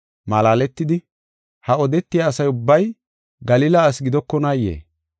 malaaletidi, “Ha odetiya asa ubbay Galila ase gidokonaayee?